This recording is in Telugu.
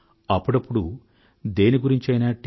అప్పుడప్పుడు దేని గురించైనా టి